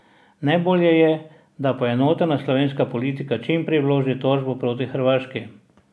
Najbolje je, da poenotena slovenska politika čim prej vloži tožbo proti Hrvaški.